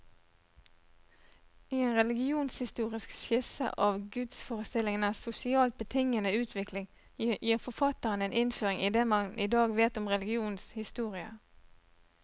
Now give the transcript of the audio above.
I en religionshistorisk skisse av gudsforestillingenes sosialt betingede utvikling, gir forfatteren en innføring i det man i dag vet om religionens historie.